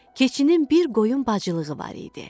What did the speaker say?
Keçinin bir qoyun bacılığı var idi.